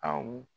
A wu